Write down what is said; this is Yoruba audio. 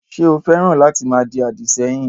Ṣé o féràn láti máa di àdì sẹ́yìn?